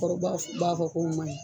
Cɛkɔrɔba b'a fɔ k'o ma ɲin.